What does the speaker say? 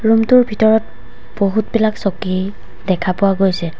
Room টোৰ ভিতৰত বহুত বিলাক চকী দেখা পোৱা গৈছে।